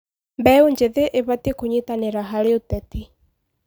Mbeũ njĩthĩ ĩbatiĩ kũnyitanĩra harĩ ũteti.